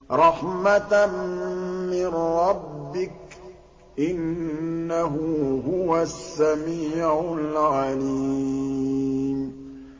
رَحْمَةً مِّن رَّبِّكَ ۚ إِنَّهُ هُوَ السَّمِيعُ الْعَلِيمُ